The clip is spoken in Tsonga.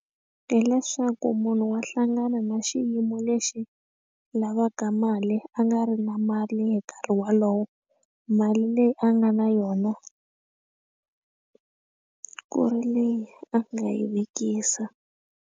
Hi leswaku munhu wa hlangana na xiyimo lexi lavaka mali a nga ri na mali hi nkarhi wolowo mali leyi a nga na yona ku ri leyi a nga yi vekisa.